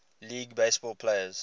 league baseball players